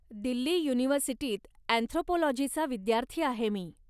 दिल्ली युनिव्हर्सिटीत अँथ्रोपोलॉजीचा विद्यार्थी आहे मी.